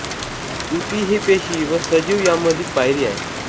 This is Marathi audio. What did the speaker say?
ऊती ही पेशी व सजीव यांमधील पायरी आहे